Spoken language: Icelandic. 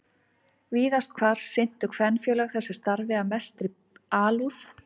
Víðast hvar sinntu kvenfélög þessu starfi af mestri alúð.